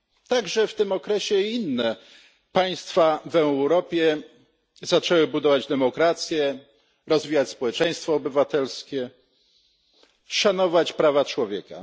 Także w tym okresie i inne państwa w Europie zaczęły budować demokrację, rozwijać społeczeństwo obywatelskie, szanować prawa człowieka.